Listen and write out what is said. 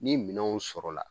Ni minɛnw sɔrɔla